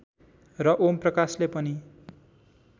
र ओम प्रकाशले पनि